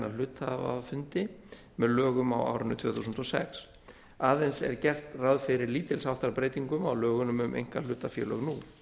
hluthafafundi með lögum á árinu tvö þúsund og sex aðeins er gert ráð fyrir lítils háttar breytingum á lögunum um einkahlutafélög nú